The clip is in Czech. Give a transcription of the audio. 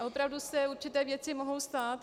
A opravdu se určité věci mohou stát.